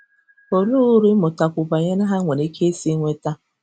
Olee uru ịmụtakwu banyere ha nwere ike isi nweta?